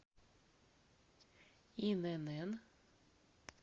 инн